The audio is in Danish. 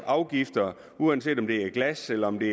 afgifter uanset om det er glas eller om det